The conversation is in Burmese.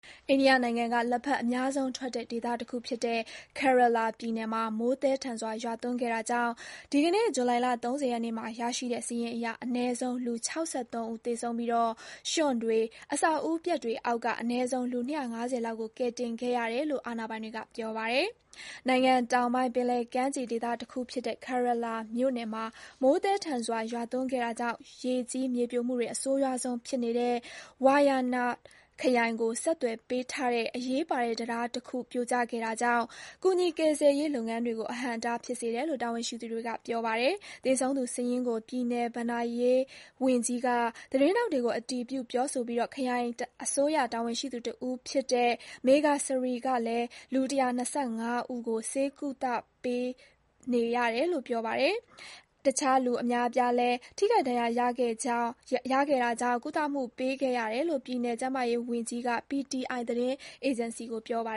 အိန္ဒိယနိုင်ငံက လက်ဖက်အများဆုံးထွက်တဲ့ ဒေသတခုဖြစ်တဲ့ Kerala ပြည်နယ်မှာ မိုးသည်းထန်စွာရွာသွန်းခဲ့တာကြောင့် ဒီကနေ့ ဇူလိုင် ၃၀ ရက်နေ့မှာရရှိတဲ့ စာရင်းအရ အနည်းဆုံး လူ ၆၃ ဦးသေဆုံးပြီး ရွှံ့တွေ၊ အဆောက်အဦပျက်တွေအောက်က အနည်းဆုံး လူ ၂၅၀ လောက်ကို ကယ်တင်ခဲ့ရတယ်လို့ အာဏာပိုင်တွေက ပြောပါတယ်။ နိုင်ငံတောင်ပိုင်း၊ ပင်လယ်ကမ်းခြေဒေသတခုဖြစ်တဲ့ Kerelaပြည်နယ်မှာ မိုးသည်းထန်စွာ ရွာသွန်းခဲ့တာကြောင့် ရေကြီး မြေပြိုမှုတွေ အဆိုးရွားဆုံးဖြစ်နေတဲ့ Wayanad ခရိုင်ကို ဆက်သွယ်ပေးထားတဲ့ အရေးပါတဲ့ တံတားတခုပြိုကျခဲ့တာကြောင့် ကူညီ ကယ်ဆယ်ရေး လုပ်ငန်းတွေကို အဟန့်အတားဖြစ်စေတယ်လို့ တာဝန်ရှိသူတွေက ပြောပါတယ်။ သေဆုံးသူစာရင်းကို ပြည်နယ် ဘဏ္ဍာရေးဝန်ကြီး K. Rajan က သတင်းထောက်တွေကို အတည်ပြုပြောဆိုပြီး ခရိုင်အစိုးရ တာဝန်ရှိသူ တဦးဖြစ်တဲ့ D.R. Meghasree ကလည်း လူ ၁၂၅ ဦးကို ဆေးကုသမှုပေးခဲ့ရတယ်လို့ ပြောပါတယ်။ တခြား လူအများအပြားလည်း ထိခိုက် ဒဏ်ရာရခဲ့တာကြောင့် ကုသမှုပေးခဲ့ရတယ်လို့ ပြည်နယ် ကျန်းမာရေးဝန်ကြီး Veena George က PTI သတင်းအေဂျင်စီကို ပြောပါ